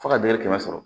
Fo ka dɛngɛ kɛmɛ sɔrɔ